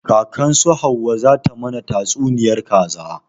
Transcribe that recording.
Kakan su hauwa za ta mana tatsuniyar kaza